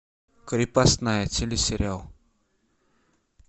крепостная телесериал